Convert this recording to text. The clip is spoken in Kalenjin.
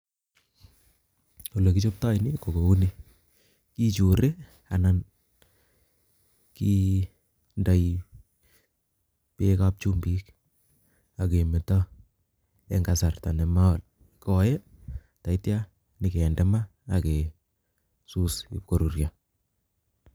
Olee kii chobtoo nii ko kouni kiichurii anan kii ndoi beek ab chumbik akemeto eng kasarta nemakoi ndaitya kende maa akesus ib koruryo